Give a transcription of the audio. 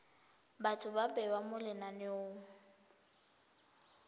batho ba bewa mo lenaneng